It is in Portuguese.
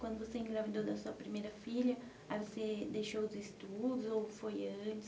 Quando você engravidou da sua primeira filha, aí você deixou os estudos ou foi antes?